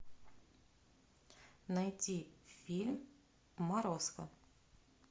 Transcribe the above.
найти фильм морозко